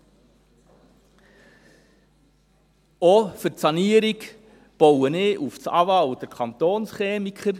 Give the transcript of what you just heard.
Auch für die Sanierung baue ich auf die AWA und den Kantonschemiker.